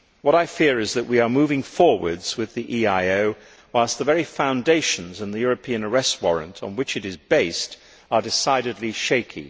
I fear that we are moving forwards with the EIO whilst its very foundations, and the European Arrest Warrant on which it is based, are decidedly shaky.